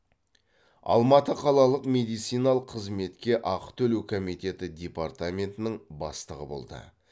алматы қалалық медициналық қызметке ақы төлеу комитеті департаментінің бастығы болды